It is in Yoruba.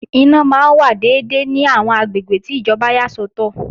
Iná máa wà dédé ní àwọn àgbègbè tí ìjọba yà sọ́tọ̀